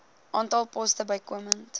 aantal poste bykomend